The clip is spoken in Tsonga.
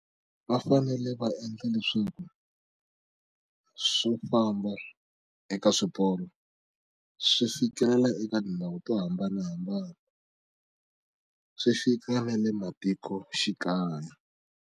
Va fanele va endla leswaku swo famba eka swiporo swi fikelela eka tindhawu to hambanahambana swi fika na le matikoxikaya.